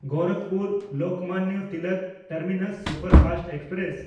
ᱜᱳᱨᱟᱠᱷᱯᱩᱨ-ᱞᱳᱠᱢᱟᱱᱱᱚ Tilak terminus superfast express